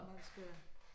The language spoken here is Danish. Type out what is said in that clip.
Man skal